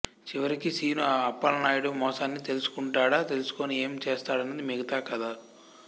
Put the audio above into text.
చివరికి శీను అప్పలనాయుడు మోసాన్ని తెలుసుకుంటాడా తెలుసుకుని ఏం చేస్తాడన్నది మిగతా కథ